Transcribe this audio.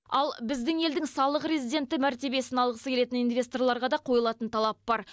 ал біздің елдің салық резиденті мәртебесін алғысы келетін инвесторларға да қойылатын талап бар